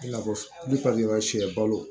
I n'a fɔ sɛ balo